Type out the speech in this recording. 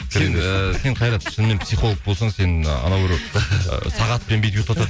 ііі сен қайрат шынымен психолог болсаң сен анау біреу ы сағатпен бүйтіп ұйықтатын